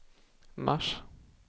mars